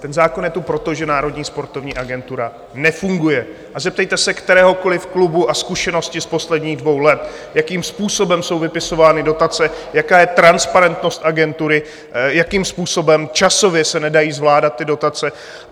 Ten zákon je tu proto, že Národní sportovní agentura nefunguje, a zeptejte se kteréhokoliv klubu na zkušenosti z posledních dvou let, jakým způsobem jsou vypisovány dotace, jaká je transparentnost agentury, jakým způsobem časově se nedají zvládat ty dotace.